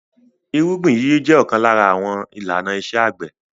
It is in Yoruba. Ìrúgbìn yíyí jẹ ọ̀kan lára àwọn àwọn ìlànà iṣẹ́-àgbẹ̀.